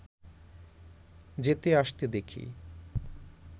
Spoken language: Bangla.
যেতে আসতে দেখি